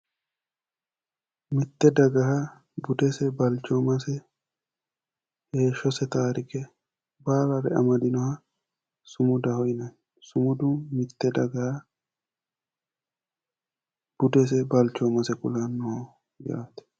Sumuda:-mitte daga budese balchoommase heeshshose taarike baalare amadinoha sumudaho yinanni mitte daga budese balchoomase kulannoho yaate